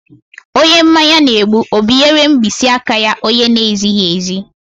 Onye mmanya na-egbu ọ binyeere mkpịsị aka ya onye na-ezighi ezi?